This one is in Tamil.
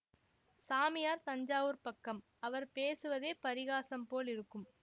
சாமியார் தஞ்சாவூர்ப் பக்கம் அவர் பேசுவதே பரிகாசம் போல் இருக்கும்